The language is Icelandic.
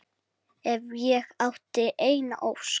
Ef ég ætti eina ósk.